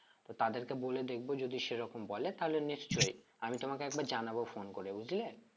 তো তাদেরকে বলে দেখবো যদি সেরকম বলে তাহলে নিশ্চই আমি তোমাকে একবার জানাবো phone করে বুঝলে